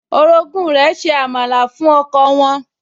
Orogún rẹ̀ se àmàlà fún ọkọ wọn